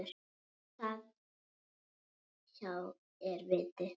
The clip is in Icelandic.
Þar hjá er viti.